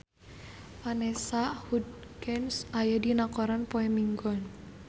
Vanessa Hudgens aya dina koran poe Minggon